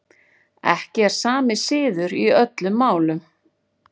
Ekki er sami siður í öllum málum.